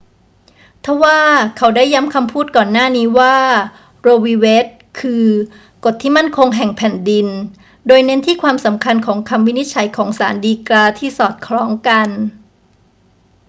ทว่าเขาได้ย้ำคำพูดก่อนหน้านี้ว่า โร วี เวด คือ กฎที่มั่นคงแห่งแผ่นดิน โดยเน้นที่ความสำคัญของคำวินิจฉัยของศาลฎีกาที่สอดคล้องกัน